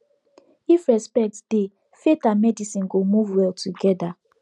if respect dey faith and medicine go move well together